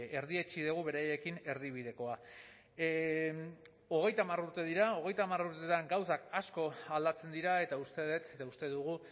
erdietsi dugu beraiekin erdibidekoa hogeita hamar urte dira hogeita hamar urtean gauzak asko aldatzen dira eta uste dut eta uste dugu